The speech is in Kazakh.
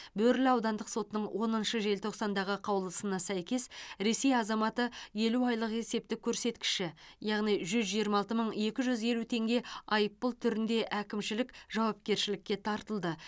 бөрлі аудандық сотының оныншы желтоқсандағы қаулысына сәйкес ресей азаматы елу айлық есептік көрсеткіші яғни жүз жиырма алты мың екі жүз елу теңге айыппұл түрінде әкімшілік жауапкершілікке тартылды